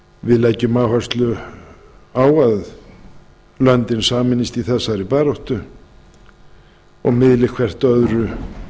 við leggjum áherslu á að löndin sameinist í þessari baráttu og miðli hvert öðru